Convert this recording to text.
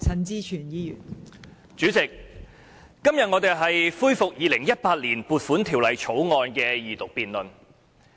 代理主席，今天我們是恢復《2018年撥款條例草案》的二讀辯論。